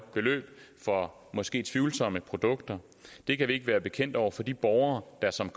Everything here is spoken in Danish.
beløb for måske tvivlsomme produkter det kan vi ikke være bekendt over for de borgere der som